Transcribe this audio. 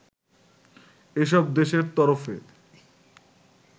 এসব দেশের তরফে